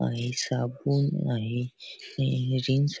आहे साबून आहे हे रिन सा--